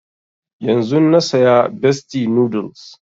Yanzun na saya bestie noodles